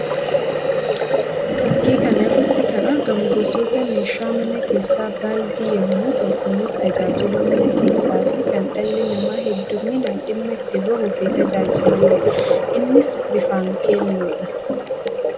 Fakkii kan irratti kan argamu gosoota meeshaa manaa keessaa baaldii yammuu ta'u; kunis tajaajila mana keessaa fi kan dhalli namaa hedduminaan dhimma itti bahuu fi tajaajilamuu dha. Innis bifaan keelloodha.